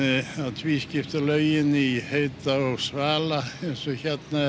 tvískipta laugin í heita og svala eins og hérna